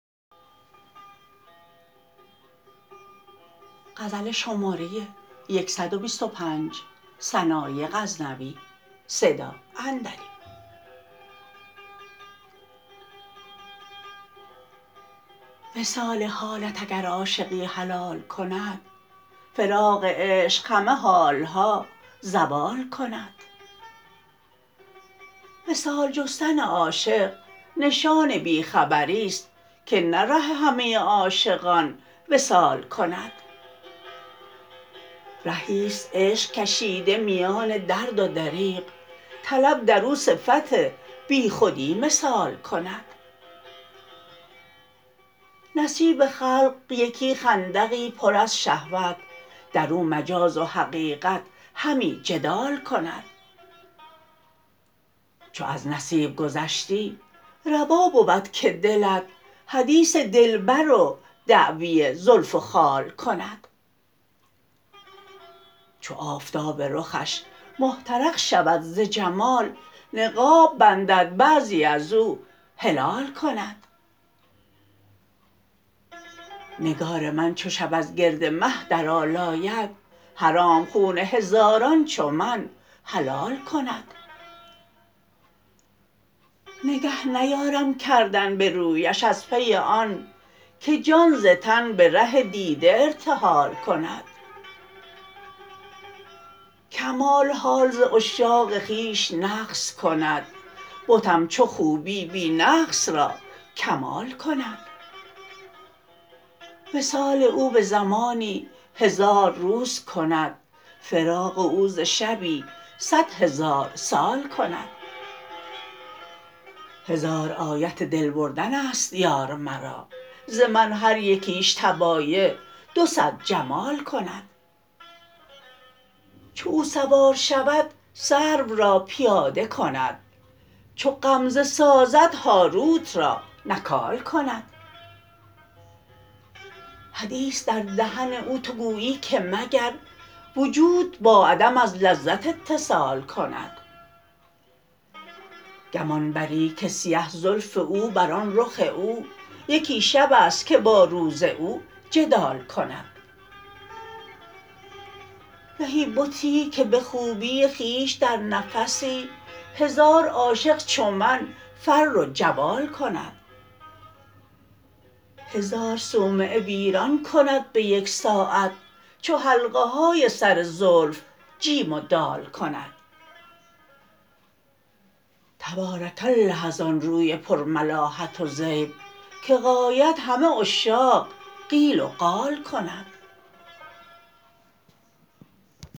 وصال حالت اگر عاشقی حلال کند فراق عشق همه حالها زوال کند وصال جستن عاشق نشان بی خبریست که نه ره همه عاشقان وصال کند رهیست عشق کشیده میان درد و دریغ طلب در او صفت بی خودی مثال کند نصیب خلق یکی خندقی پر از شهوت در او مجاز و حقیقت همی جدال کند چو از نصیب گذشتی روا بود که دلت حدیث دلبر و دعوی زلف و خال کند چو آفتاب رخش محترق شود ز جمال نقاب بندد بعضی ازو هلال کند نگار من چو شب از گرد مه درآلاید حرام خون هزاران چو من حلال کند نگه نیارم کردن به رویش از پی آن که جان ز تن به ره دیده ارتحال کند کمال حال ز عشاق خویش نقص کند بتم چو خوبی بی نقص را کمال کند وصال او به زمانی هزار روز کند فراق او ز شبی صد هزار سال کند هزار آیت دل بردنست یار مرا ز من هر یکیش طبایع دو صد جمال کند چو او سوار شود سرو را پیاده کند چو غمزه سازد هاروت را نکال کند حدیث در دهن او تو گوییی که مگر وجود با عدم از لذت اتصال کند گمان بری که سیه زلف او بر آن رخ او یکی شبست که با روز او جدال کند زهی بتی که به خوبی خویش در نفسی هزار عاشق چون من فر و جوال کند هزار صومعه ویران کند به یک ساعت چو حلقه های سر زلف جیم و دال کند تبارک الله از آن روی پر ملاحت و زیب که غایت همه عشاق قیل و قال کند